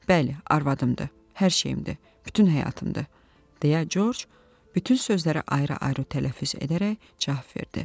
Bəli, arvadımdır, hər şeyimdir, bütün həyatımdır, deyə Corc bütün sözləri ayrı-ayrı tələffüz edərək cavab verdi.